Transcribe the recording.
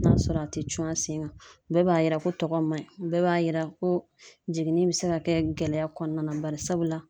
N'a sɔrɔ a te cun a sen kan bɛɛ b'a yira ko tɔgɔ man ɲi bɛɛ b'a yira ko jiginni be se ka kɛ gɛlɛya kɔnɔna na bari sabula